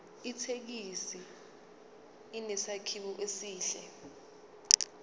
ithekisi inesakhiwo esihle